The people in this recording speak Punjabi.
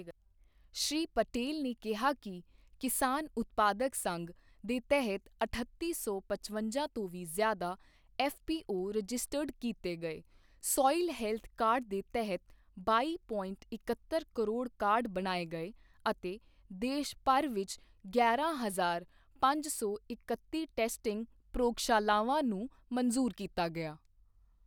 ਸ਼੍ਰੀ ਪਟੇਲ ਨੇ ਕਿਹਾ ਕਿ ਕਿਸਾਨ ਉਤਪਾਦਕ ਸੰਘ ਦੇ ਤਹਿਤ ਅਠੱਤੀ ਸੌ ਪਚਵੰਜਾ ਤੋਂ ਵੀ ਜ਼ਿਆਦਾ ਐੱਫਪੀਓ ਰਜਿਸਟਰਡ ਕੀਤੇ ਗਏ ਸੋਇਲ ਹੈਲਥ ਕਾਰਡ ਦੇ ਤਹਿਤ ਬਾਈ ਪੋਇੰਟ ਇੱਕਹੱਤਰ ਕਰੋੜ ਕਾਰਡ ਬਣਾਏ ਗਏ ਅਤੇ ਦੇਸ਼ਭਰ ਵਿੱਚ ਗਿਆਰਾਂ ਹਜ਼ਾਰ ਪੰਜ ਸੌ ਇਕੱਤੀ ਟੈਸਟਿੰਗ ਪ੍ਰਯੋਗਸ਼ਾਲਾਵਾਂ ਨੂੰ ਮੰਜੂਰ ਕੀਤਾ ਗਿਆ।